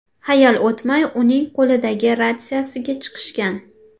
Hayal o‘tmay, uning qo‘lidagi ratsiyasiga chiqishgan.